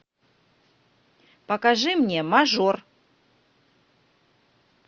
покажи мне мажор